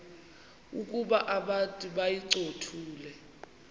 ukuba abantu bayincothule